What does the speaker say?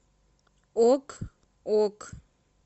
ок ок